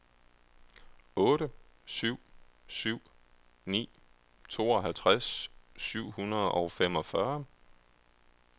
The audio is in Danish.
otte syv syv ni tooghalvtreds syv hundrede og femogfyrre